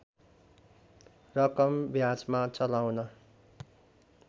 रकम ब्याजमा चलाउन